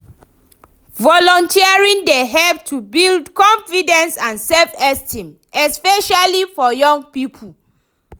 Volunteering dey help to build confidence and self-esteem, especially for young people.